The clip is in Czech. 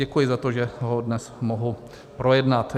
Děkuji za to, že ho dnes mohu projednat.